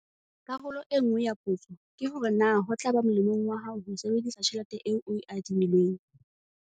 Karolo e nngwe ya potso ke hore na ho tla ba molemong wa hao ho sebedisa tjhelete eo o e adimilweng?